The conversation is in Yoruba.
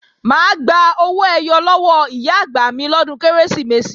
Mà á gba owó ẹyọ lọ́wọ́ Ìyá-àgbà mi lọ́dún Kérésìmesì